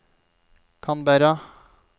Canberra